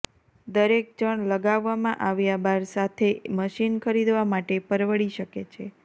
દરેક જણ લગાવવામાં આવ્યા બાર સાથે એક મશીન ખરીદવા માટે પરવડી શકે છે